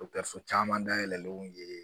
caman dayɛlɛlenw ye